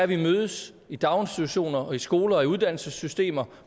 vi mødes i daginstitutioner og i skoler og i uddannelsessystemer